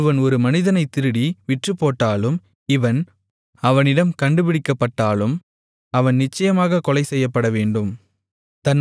ஒருவன் ஒரு மனிதனைத் திருடி விற்றுப்போட்டாலும் இவன் அவனிடம் கண்டுபிடிக்கப்பட்டாலும் அவன் நிச்சயமாகக் கொலைசெய்யப்படவேண்டும்